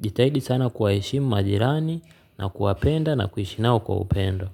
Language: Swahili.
Jitahidi sana kwaheshimu majirani na kuwapenda na kuhishi nao kwa upendo.